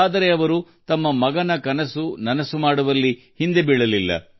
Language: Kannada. ಆದರೆ ಮಗನ ಕನಸುಗಳನ್ನು ನನಸಾಗಿಸಲು ಅವರು ಎಲ್ಲವನ್ನೂ ಮಾಡಿದ್ದಾರೆ